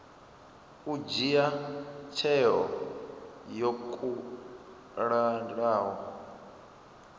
u dzhia tsheo yo kalulaho